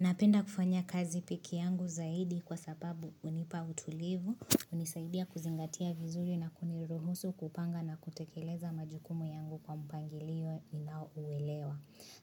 Napenda kufanya kazi pekee yangu zaidi kwa sababu hunipa utulivu, unisaidia kuzingatia vizuri na kuniruhusu kupanga na kutekeleza majukumu yangu kwa mpangilio ninao uelewa.